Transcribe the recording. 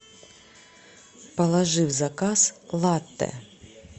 положи в заказ латте